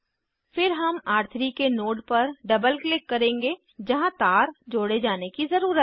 फिर हम र3 के नोड पर डबल क्लिक करेंगे जहाँ तार जोड़े जाने की ज़रुरत है